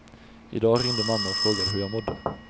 I dag ringde mamma och frågade hur jag mådde.